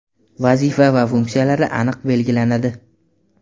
vazifa va funksiyalari aniq belgilanadi.